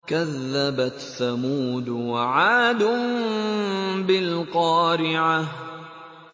كَذَّبَتْ ثَمُودُ وَعَادٌ بِالْقَارِعَةِ